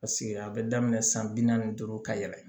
Paseke a bɛ daminɛ san bi naani duuru ka yɛlɛ